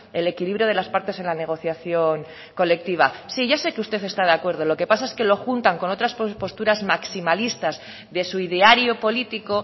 el equilibrio de las partes en la negociación colectiva sí ya sé que usted está de acuerdo lo que pasa es que lo juntan con otras posturas maximalistas de su ideario político